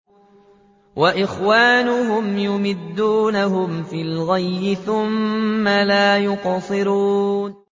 وَإِخْوَانُهُمْ يَمُدُّونَهُمْ فِي الْغَيِّ ثُمَّ لَا يُقْصِرُونَ